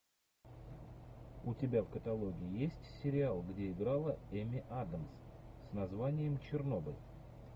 у тебя в каталоге есть сериал где играла эми адамс с названием чернобыль